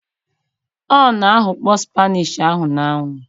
O na-aghakpo spinach ahụ na-anwụ